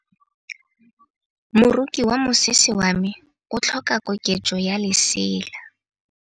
Moroki wa mosese wa me o tlhoka koketsô ya lesela.